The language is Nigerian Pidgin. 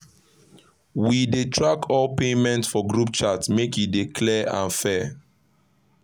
we dey track all payment for group chat make e dey clear and fair